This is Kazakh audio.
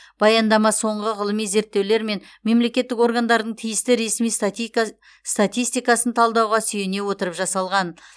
баяндама соңғы ғылыми зерттеулер мен мемлекеттік органдардың тиісті ресми статистикасын талдауға сүйене отырып жасалған